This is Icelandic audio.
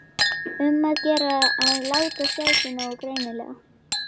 Um að gera að láta sjá sig nógu greinilega!